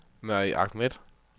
Mary Ahmed